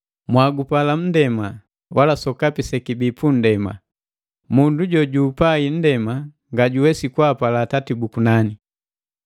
Mwagupala nndema, wala sokapi sekibii punndema. Mundu jojugupai nndema, ngajuwesi kwaapala Atati buku nane.